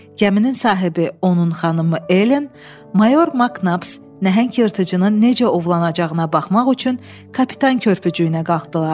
Gəminin sahibi, onun xanımı Elen, mayor Maknabs nəhəng yırtıcının necə ovlanacağına baxmaq üçün kapitan körpücüyünə qalxdılar.